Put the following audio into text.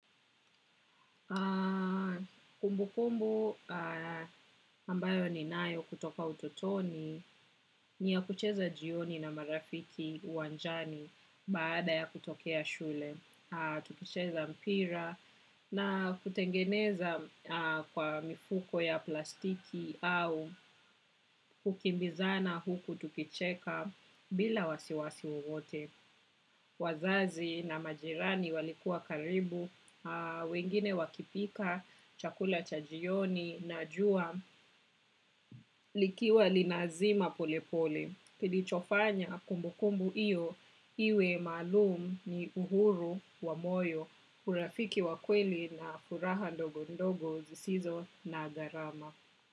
Kumbu kumbu ambayo ni nayo kutoka utotoni ni ya kucheza jioni na marafiki uwanjani baada ya kutokea shule. Tukicheza mpira na kutengeneza kwa mifuko ya plastiki au hukimbizana huku tukicheka bila wasiwasi wote. Wazazi na majirani walikuwa karibu, wengine wakipika, chakula cha jioni, najua, likiwa linazima polepole. Kilichofanya kumbukumbu iyo, iwe maalum ni uhuru wa moyo. Urafiki wa kweli na furaha ndogo ndogo zisizo na garama.